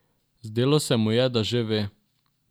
Zdelo se mu je, da že ve.